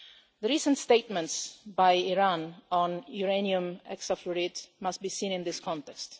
The recent statements by Iran on uranium hexafluoride must be seen in this context.